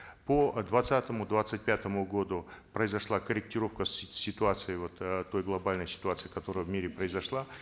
по э двадцатому двадцать пятому году произошла корректировка ситуации вот э той глобальной ситуации которая в мире произошла